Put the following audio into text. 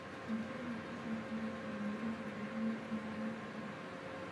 Anchovies waxay ku dartaa milix, dhadhan umami saxanka.